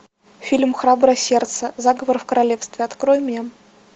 фильм храброе сердце заговор в королевстве открой мне